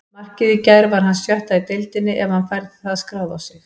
Markið í gær var hans sjötta í deildinni ef hann fær það skráð á sig.